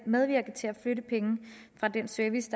medvirke til at flytte penge fra den service